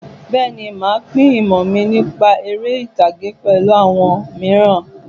Bẹ́ẹ̀ni, màá pín ìmọ̀ mi nípa eré-ìtàgé pẹ̀lú àwọn mìíràn.